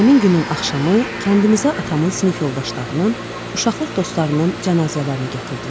Həmin günün axşamı kəndimizə atamın sinif yoldaşlarının, uşaqlıq dostlarının cənazələrini gətirdilər.